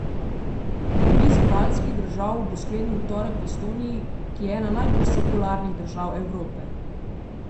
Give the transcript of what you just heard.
Obisk baltskih držav bo sklenil v torek v Estoniji, ki je ena najbolj sekularnih držav Evrope.